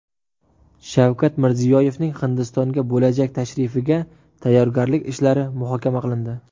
Shavkat Mirziyoyevning Hindistonga bo‘lajak tashrifiga tayyorgarlik ishlari muhokama qilindi.